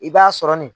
I b'a sɔrɔ nin